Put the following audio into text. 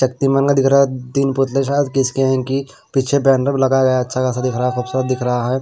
शक्तिमान का दिख रहा है तीन पुतले शायद किसके हैं कि पीछे बैनर लगा गया है अच्छा खासा दिख रहा है खूबसूरत दिख रहा है।